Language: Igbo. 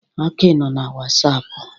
Aki nọ na wasapụ.